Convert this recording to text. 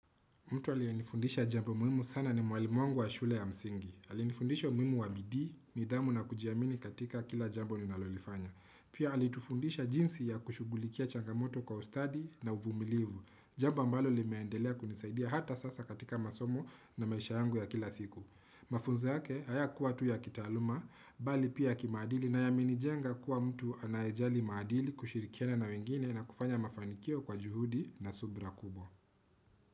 Mtu alianifundisha jambo muhimu sana ni mwalimu wangu wa shule ya msingi. Alianifundisha umuhimu wa bidii, nidhamu na kujiamini katika kila jambo ninalolifanya. Pia alitufundisha jinsi ya kushugulikia changamoto kwa ustadi na uvumilivu. Jambo ambalo limeendelea kunisaidia hata sasa katika masomo na maisha yangu ya kila siku. Mafunzo yake, hayakuwa tu ya kitaaluma, bali pia kimaadili nayamenijenga kuwa mtu anaejali maadili kushirikiana na wengine na kufanya mafanikio kwa juhudi na subra kubwa.